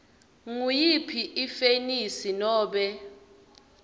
nguyiphi ifenisi nobe